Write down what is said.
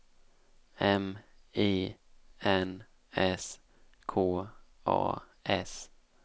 M I N S K A S